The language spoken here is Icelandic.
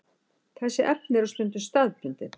Þessi efni eru stundum staðbundin.